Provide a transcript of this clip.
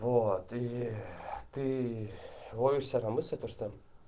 вот и ты ловишь себя на мысли то что